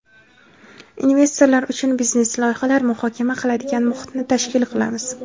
investorlar uchun biznes loyihalar muhokama qiladigan muhitni tashkil qilamiz.